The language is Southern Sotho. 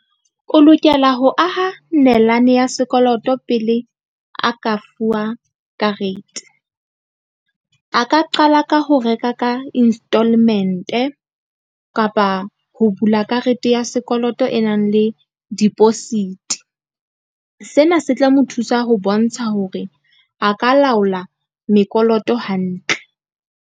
O lokela ho aha nalane ya sekoloto pele a ka fuwa karete. A ka qala ka ho reka ka instalment-e kapa ho bula karete ya sekoloto e nang le deposit-i. Sena se tla mo thusa ho bontsha hore a ka laola mekoloto hantle.